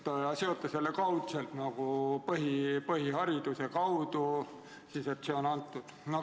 Te seote selle kaudselt põhiharidusega, et see on justkui koos sellega antud.